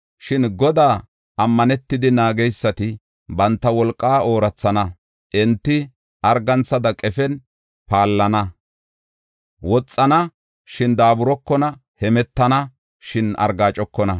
Shin Godaa ammanetidi naageysati, banta wolqaa oorathana. Enti arganthada qefen paallana; woxana, shin daaburokona; hemetana, shin argaacokona.